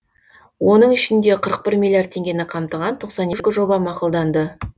оның ішінде қырық бір миллиард теңгені қамтыған тоқсан екі жоба мақұлданды